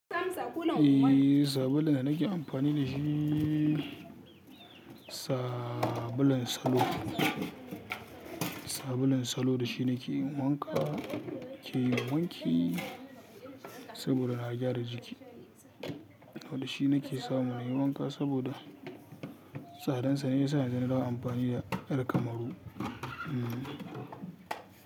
Eh, sabulun da nake amfani da shi sabulun salo. Sabulun salo da shi nake yin wanka, nake yin wanki saboda na gyara jiki. Wani shi nake samu na yi wanka saboda tsadansa ne ya sa yanzu na dawo amfani da ƴar kamaru. Hmm.